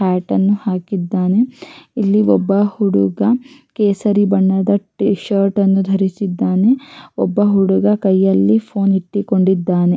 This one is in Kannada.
ಇಲ್ಲಿ ಒಬ್ಬ ಹುಡುಗ ಕೇಸರಿ ಬಣ್ಣದ ಟೀ ಶರ್ಟ್ ನ್ನು ನ್ನು ಧರಿಸಿದ್ದಾನೆ ಒಬ್ಬ ಹುಡುಗ ಕೈಯಲ್ಲಿ ಫೋನ್ ಎತ್ತಿಕೊಂಡಿದ್ದಾನೆ.